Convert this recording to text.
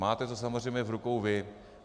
Máte to samozřejmě v rukou vy.